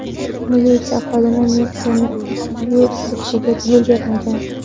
Militsiya xodimi Nexia’ning yurib ketishiga yo‘l bermagan.